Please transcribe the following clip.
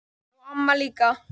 Og amma líka.